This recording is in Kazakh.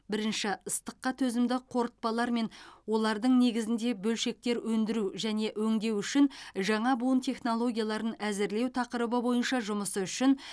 бірінші ыстыққа төзімді қорытпалар мен олардың негізінде бөлшектер өндіру және өңдеу үшін жаңа буын технологияларын әзірлеу тақырыбы бойынша жұмысы үшін